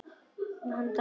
Hann drafar.